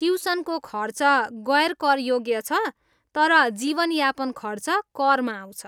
ट्युसनको खर्च गैर कर योग्य छ, तर जीवन यापन खर्च करमा आउँछ।